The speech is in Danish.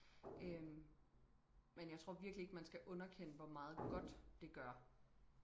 øhm men jeg tror virkelig ikke man skal underkende hvor meget godt det gør